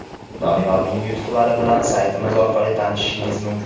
Doniyorning yutuqlari bilan saytimiz orqali tanishishingiz mumkin.